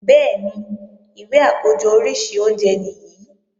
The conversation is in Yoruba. Bẹ́ẹ̀ni, ìwé àkójọ oríṣi oúnjẹ nìyí